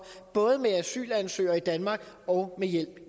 både med asylansøgere i danmark og med hjælp